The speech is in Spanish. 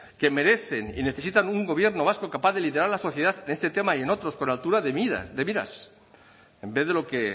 que merecen y necesitan un gobierno vasco capaz de liderar la sociedad en este tema y en otros con altura de miras en vez de lo que